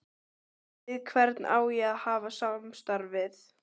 Við hvern á ég að hafa samstarf við?